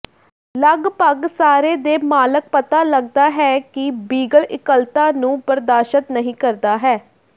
ਲਗਭਗ ਸਾਰੇ ਦੇ ਮਾਲਕ ਪਤਾ ਲੱਗਦਾ ਹੈ ਕਿ ਬੀਗਲ ਇਕੱਲਤਾ ਨੂੰ ਬਰਦਾਸ਼ਤ ਨਹੀ ਕਰਦਾ ਹੈ